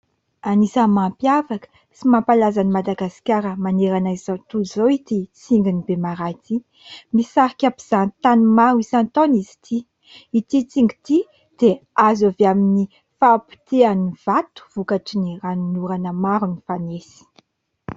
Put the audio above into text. Anisan'ny mampiavaka sy mampalaza an'i Madagasikara manerana izao tontolo izao ity tsingin'i Bemaraha ity. Misarika mpizahatany maro isan-taona izy ity. Ity tsingy ity dia azo avy amin'ny fahapotehan'ny vato, vokatry ny ranon'orana maro nifanesy.